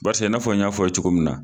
Paseke i n'a fɔ n y'a fɔ ye cogo min na